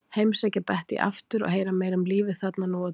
Heimsækja Bettý aftur og heyra meira um lífið þarna nú á dögum.